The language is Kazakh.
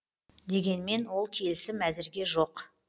дегенмен ол келісім әзірге жоқ